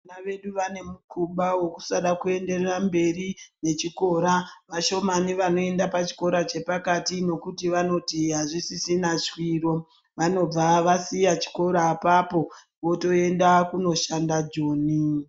Vana vedu vanemukuba wekusada kuenderera mberi nechikora vashomani vanoenda pachikora chepakati ngekuti vanoti hazvisisina shwiro vanobva vasiya chikora apapo votoenda kunoshanda joni.